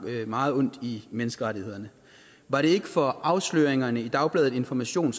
meget ondt i menneskerettighederne var det ikke for afsløringerne i dagbladet information